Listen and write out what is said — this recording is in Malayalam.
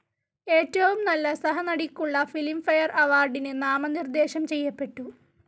ഏറ്റവും നല്ല സഹനടിക്കുള്ള ഫിലിം ഫെയർ അവാർഡിനു നാമനിർദ്ദേശം ചെയ്യപ്പെട്ടു.